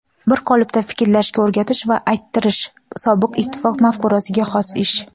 bir qolipda fikrlashga o‘rgatish va ayttirish sobiq ittifoq mafkurasiga xos ish.